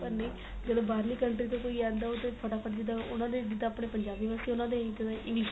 ਪਰ ਨਹੀਂ ਜਦੋ ਬਾਹਰਲੀ country ਤੋਂ ਕੋਈ ਆਂਦਾਫਟਾ ਫਟ ਜਿੱਦਾ ਉਹਨਾ ਦੇ ਜਿੱਦਾ ਆਪਣੇ ਪੰਜਾਬੀ ਵਸ ਚ ਏ ਉਹਨਾ ਦੇ English